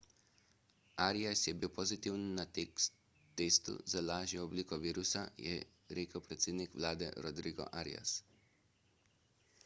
arias je bil pozitiven na testu za lažjo obliko virusa je rekel predsednik vlade rodrigo arias